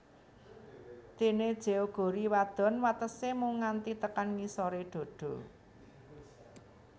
Dene jeogori wadon watese mung nganti tekan ngisore dada